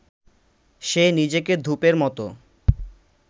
সে নিজেকে ধূপের মতো